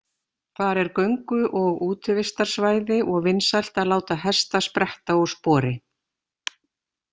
Þar er göngu- og útivistarsvæði og vinsælt að láta hesta spretta úr spori.